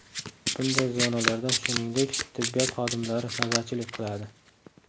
Bunday zonalarda, shuningdek, tibbiyot xodimlari navbatchilik qiladi.